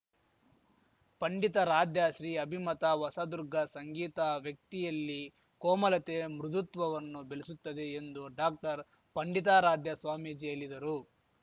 ಪಂಡಿತಾರಾಧ್ಯ ಶ್ರೀ ಅಭಿಮತ ಹೊಸದುರ್ಗ ಸಂಗೀತ ವ್ಯಕ್ತಿಯಲ್ಲಿ ಕೋಮಲತೆ ಮೃದುತ್ವವನ್ನು ಬೆಳೆಸುತ್ತದೆ ಎಂದು ಡಾಕ್ಟರ್ ಪಂಡಿತಾರಾಧ್ಯ ಸ್ವಾಮೀಜಿ ಹೇಲಿದರು